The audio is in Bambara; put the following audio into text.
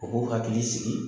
U k'u hakili sigi.